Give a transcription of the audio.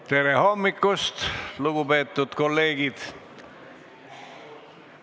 Tere hommikust, lugupeetud kolleegid!